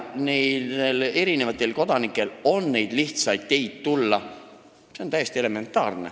Nendel kodanikel on lihtsaid teid, et siia tulla – see on täiesti selge.